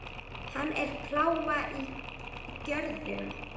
Hann er plága í görðum.